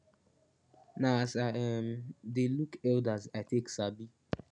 na as i um de look elders i take sabi